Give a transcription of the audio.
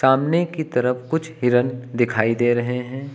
सामने की तरफ कुछ हिरण दिखाई दे रहे हैं।